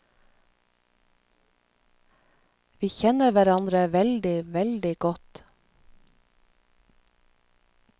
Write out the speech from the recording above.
Vi kjenner hverandre veldig, veldig godt.